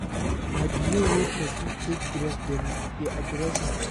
Na di way wey person take dress dem dey address am